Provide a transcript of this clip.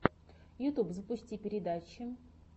ютюб запусти передачи